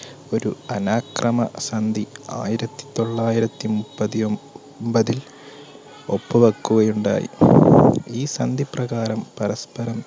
ഒരു അനാക്രമ സന്ധി ആയിരത്തിതൊള്ളായിരത്തി മുപ്പത്തിഒൻ~പതിൽ ഒപ്പുവെക്കുകയുണ്ടായി. ഈ സന്ധി പ്രകാരം പരസ്പരം